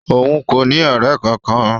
Òun kò ní ọrẹ kankan.